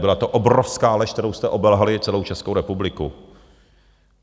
Byla to obrovská lež, kterou jste obelhali celou Českou republiku.